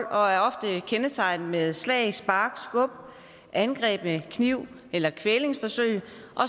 og er ofte kendetegnet ved slag spark skub angreb med kniv eller kvælningsforsøg